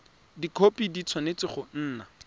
dikhopi di tshwanetse go nna